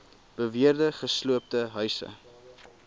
beweerde gesloopte huise